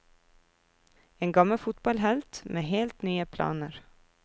En gammel fotballhelt med helt nye planer.